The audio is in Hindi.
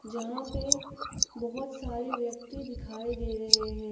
जहां पे बहोत सारे व्यक्ति दिखाई दे रहे हैं।